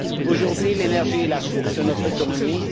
Aujourd'hui, l'énergie est la source de notre économie.